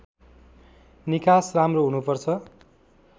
निकास राम्रो हुनुपर्छ